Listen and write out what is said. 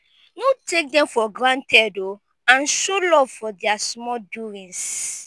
no take dem for granted o and show luv for dia small doings